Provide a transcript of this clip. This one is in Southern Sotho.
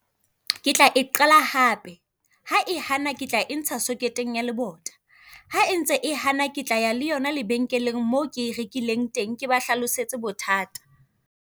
Ke tla e qala hape, ha e hana ke tla e ntsha socket-eng ya lebota. Ha e ntse e hana ke tla ya le yona lebenkeleng moo ke e rekileng teng, ke ba hlalosetse bothata.